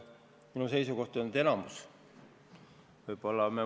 Minu seisukoht on, et enamik.